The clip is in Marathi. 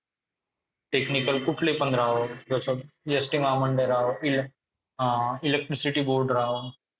technical कुठलीपण राहो जस एस ती महामंडळ राहो इले अअ electricity board राहो